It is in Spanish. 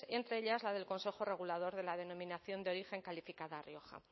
entre ellas la del consejo regulador de la denominación de origen calificada rioja